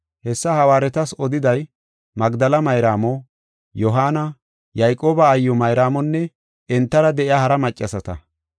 Hessa hawaaretas odiday Magdela Mayraamo, Yohaana, Yayqooba aayiw Mayraamonne entara de7iya hara maccasata.